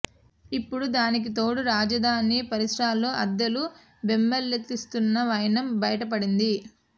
ఇప్పుడు దానికి తోడు రాజధాని పరిసరాల్లో అద్దెలు బెంబేలెత్తిస్తున్న వైనం బైటపడింది